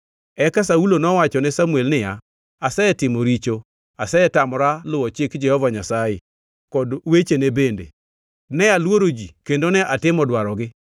Eka Saulo nowachone Samuel niya. “Asetimo richo. Asetamora luwo chik Jehova Nyasaye kod wecheni bende. Ne aluoro ji kendo ne atimo dwarogi.